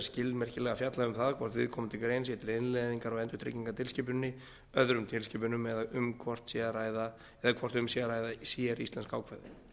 skilmerkilega fjallað um það hvort viðkomandi grein sé til innleiðingar á endurtryggingatilskipuninni öðrum tilskipunum eða hvort um sé að ræða séríslensk ákvæði